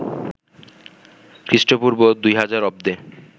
খ্রিস্টপূর্ব ২০০০ অব্দে